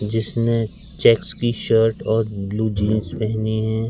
जिसने चेक्स की शर्ट और ब्लू जींस पहनी हैं।